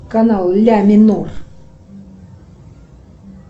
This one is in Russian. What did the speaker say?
канал ля минор